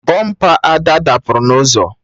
Bọmpa Ada dapụrụ na ụzọ